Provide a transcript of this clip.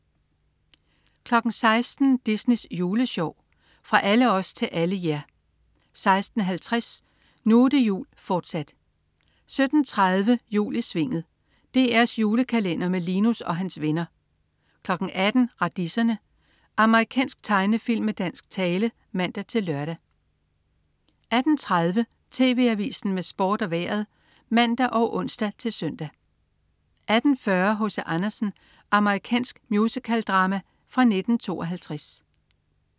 16.00 Disneys Juleshow. Fra alle os til alle jer 16.50 Nu' det jul, fortsat 17.30 Jul i Svinget. DR's julekalender med Linus og hans vennner 18.00 Radiserne. Amerikansk tegnefilm med dansk tale (man-lør) 18.30 TV Avisen med Sport og Vejret (man og ons-søn) 18.40 H.C. Andersen. Amerikansk musicaldrama fra 1952